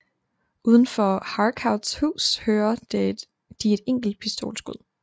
Uden for Harcourts hus hører de et pistolskud